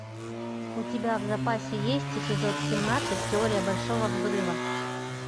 у тебя в запасе есть эпизод семнадцать теория большого взрыва